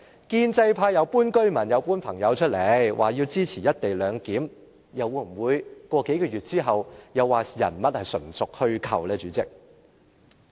建制派搬出居民，又搬出朋友，說他們支持"一地兩檢"，數個月後，又會否說人物是純屬虛構呢，代理主席？